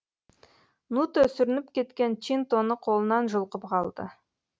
нуто сүрініп кеткен чинтоны қолынан жұлқып қалды